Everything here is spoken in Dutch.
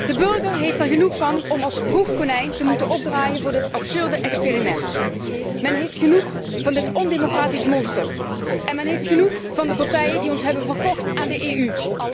De burger heeft er genoeg van om als proefkonijn te moeten opdraaien voor dit absurde experiment. Men heeft genoeg van dit ondemocratisch monster en men heeft genoeg van de partijen die ons hebben verkocht aan de EU.